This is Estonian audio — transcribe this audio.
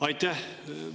Aitäh!